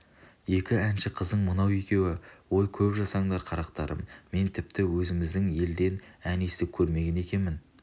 екі әнші қызың мынау екеуі ой көп жасаңдар қарақтарым мен тіпті өзіміздің елден ән естіп көрмеген екенмін